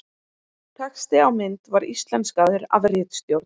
Texti á mynd var íslenskaður af ritstjórn.